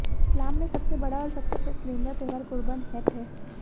इस्लाम में सबसे बड़ा और सबसे पसंदीदा त्योहार कुर्बन हेट है